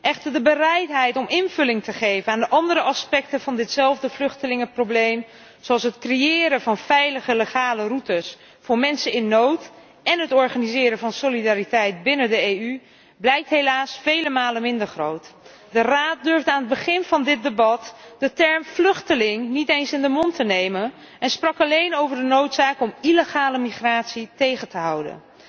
Echter, de bereidheid om invulling te geven aan de andere aspecten van ditzelfde vluchtelingenprobleem, zoals het creëren van veilige, legale routes voor mensen in nood en het organiseren van solidariteit binnen de EU, blijkt helaas vele malen minder groot. De Raad durfde aan het begin van dit debat de term vluchteling niet eens in de mond te nemen en sprak alleen over de noodzaak om illegale migratie tegen te houden.